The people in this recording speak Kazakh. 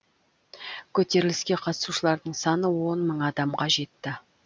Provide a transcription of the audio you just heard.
көтеріліске қатысушылардың саны он мың адамға жетті